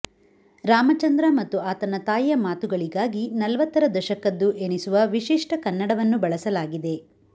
ರಾಮಚಂದ್ರ ಮತ್ತು ಆತನ ತಾಯಿಯ ಮಾತುಗಳಿಗಾಗಿ ನಲ್ವತ್ತರ ದಶಕದ್ದು ಎನಿಸುವ ವಿಶಿಷ್ಟ ಕನ್ನಡವನ್ನು ಬಳಸಲಾಗಿದೆ